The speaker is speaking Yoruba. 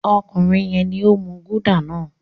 Ọkùnrin yẹn ni ó ń mú Gulder náà.